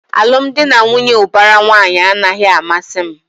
Alụmdi na nwunye ubara nwanyi a naghị amasị m